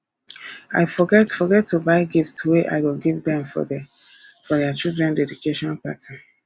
i forget forget to buy gift wey i go give dem for their child dedication party